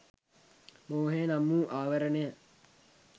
මෝහය නම් වූ ආවරණය